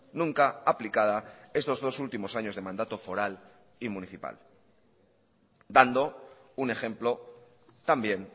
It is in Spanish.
nunca aplicada estos dos últimos años de mandato foral y municipal dando un ejemplo también